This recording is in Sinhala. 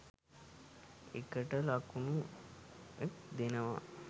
ඒකට ලකුණු ක් දෙනවා